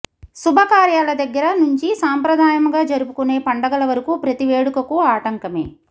శుభకార్యాల దగ్గర నుంచి సంప్రదాయంగా జరుపుకొనే పండగల వరకు ప్రతి వేడుకకు ఆటంకమే